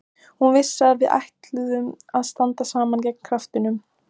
Hún vissi að við ætluðum að standa saman gegn kjaftinum.